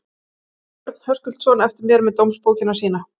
Þar beið Örn Höskuldsson eftir mér með dómsbókina sína.